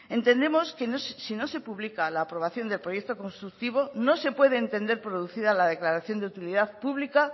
entendemos que si no se publica la aprobación del proyecto constructivo no se puede entender producida la declaración de utilidad pública